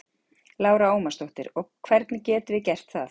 Lára Ómarsdóttir: Og hvernig getum við gert það?